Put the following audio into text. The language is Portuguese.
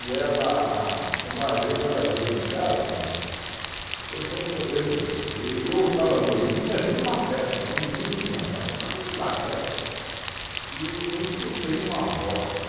E ela, uma vez ela veio em casa, que eu sempre eu, e eu estava dormindo, eu tinha vindo de uma festa, era um domingo de manhã, eu estava vindo de uma festa, e eu escutei uma voz.